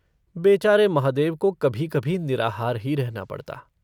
बेचारे महादेव को कभी-कभी निराहार ही रहना पड़ता।